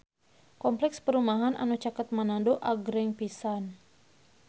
Kompleks perumahan anu caket Manado agreng pisan